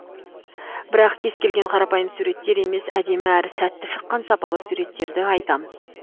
бірақ кез келген қарапайым суреттер емес әдемі әрі сәтті шыққан сапалы суреттерді айтамыз